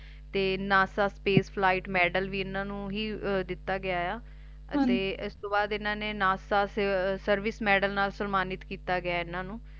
ਤੇ NASA Space Light Medal ਵੀ ਇਹਨਾਂ ਨੂੰ ਹੀ ਦਿੱਤਾ ਗਿਆ ਤੇ ਇਸਤੋਂ ਬਾਅਦ ਇਹਨਾਂ ਨੂੰ NASA Service Medal ਨਾਲ ਸਨਮਾਨਿਤ ਕੀਤਾ ਗਿਆ ਇਹਨਾਂ ਨੂੰ